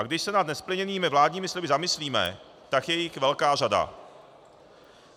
A když se nad nesplněnými vládními sliby zamyslíme, tak je jich velká řada.